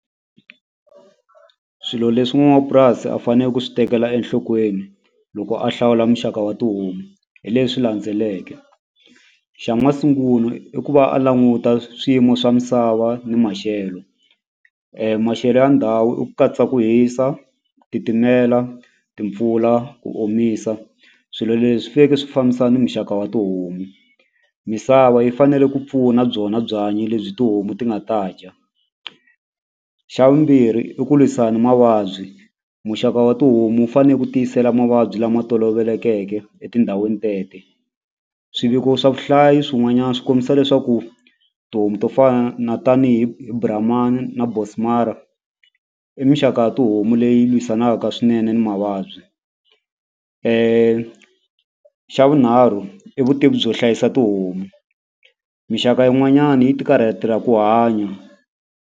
Swilo leswi n'wapurasi a fane ku swi tekela enhlokweni loko a hlawula muxaka wa tihomu hi leswi landzeleke xa masungulo i ku va a languta swiyimo swa misava ni maxelo maxelo ya ndhawu i ku katsa ku hisa ku titimela timpfula ku omisa swilo leswi swi fambisana ni muxaka wa tihomu misava yi fanele ku pfuna byona byanyi lebyi tihomu ti nga ta dya xa vumbirhi i ku lwisana ni mavabyi muxaka wa tihomu wu fane ku tiyisela mavabyi lama tolovelekeke etindhawini tete swiviko swa vuhlayi swin'wanyani swi kombisa leswaku tihomu to fana na tanihi hi brahman na bonsmara i mixaka ya tihomu leyi lwisanaka swinene ni mavabyi xa vunharhu i vutivi byo hlayisa tihomu mixaka yin'wanyani yi ti karhatela ku hanya.